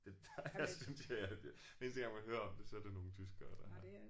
Det jeg synes jeg har. Den eneste gang man hører om det så er det nogle tyskere der